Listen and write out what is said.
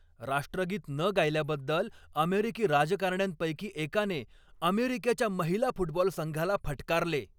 राष्ट्रगीत न गायल्याबद्दल अमेरिकी राजकारण्यांपैकी एकाने अमेरिकेच्या महिला फुटबॉल संघाला फटकारले.